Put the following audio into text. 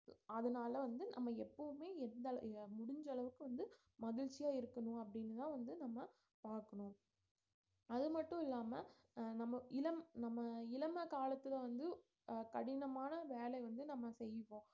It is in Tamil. அதனால வந்து நம்ம எப்பவுமே எந்த அள~ இத முடிஞ்ச அளவுக்கு வந்து மகிழ்ச்சியா இருக்கணும் அப்படின்னுதான் வந்து நம்ம பார்க்கணும் அது மட்டும் இல்லாம அஹ் நம்ம இளம் நம்ம இளம காலத்துல வந்து அஹ் கடினமான வேலை வந்து நம்ம செய்வோம்